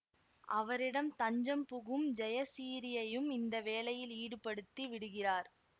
அவரிடம் தஞ்சம் புகும் ஜெயசிறீயையும் இந்த வேலையில் ஈடுபடுத்தி விடுகிறார்